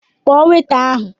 Kpọọ weta ahụ!